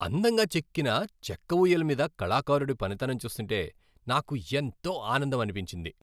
అందంగా చెక్కిన చెక్క ఊయల మీద కళాకారుడి పనితనం చూస్తుంటే నాకు ఎంతో ఆనందమనిపించింది.